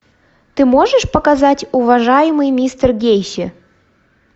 ты можешь показать уважаемый мистер гейси